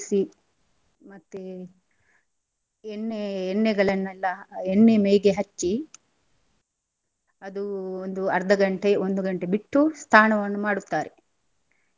ಮತ್ತೆ ಎಣ್ಣೆ ಎಣ್ಣೆಗಳನೆಲ್ಲಾ ಎಣ್ಣೆ ಮೈಗೆ ಹಚ್ಚಿ ಅದು ಒಂದು ಅರ್ಧ ಗಂಟೆ ಒಂದು ಗಂಟೆ ಬಿಟ್ಟು ಸ್ನಾನವನ್ನು ಮಾಡುತ್ತಾರೆ.